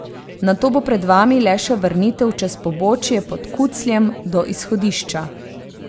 Nato bo pred vami le še vrnitev čez pobočje pod Kucljem do izhodišča.